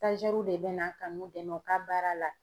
de bɛ na ka n'u dɛmɛ u ka baara la.